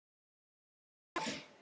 Svend, hver syngur þetta lag?